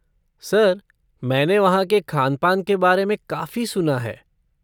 Sir, मैंने वहाँ के ख़ान पान के बारे में काफ़ी सुना है।